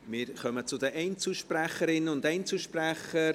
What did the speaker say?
Wir kommen zu den Einzelsprecherinnen und Einzelsprechern.